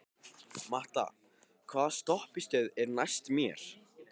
Matta, hvaða stoppistöð er næst mér?